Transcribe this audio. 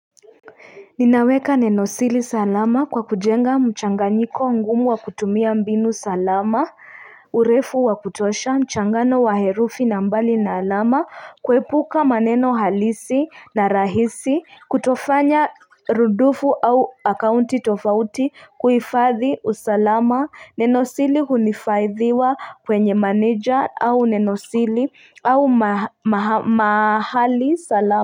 Ninaweka nenosiri salama kwa kujenga mchanganyiko ngumu wa kutumia mbinu salama urefu wa kutosha mchangano wa herufi na mbali na alama kuepuka maneno halisi na rahisi kutofanya rudufu au akaunti tofauti kuifadhi usalama nenosiri huhifadhiwa kwenye manager au nenosiri au mahali salama.